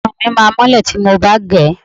Irun mi máá mọ́lẹ̀ tí mo bá gẹ̀ ẹ́